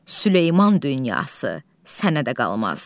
Süleyman dünyası sənə də qalmaz.